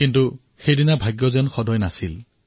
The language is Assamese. কিন্তু তেওঁলোকৰ ভাগ্য সুপ্ৰসন্ন নাছিল